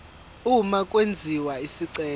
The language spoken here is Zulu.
uma kwenziwa isicelo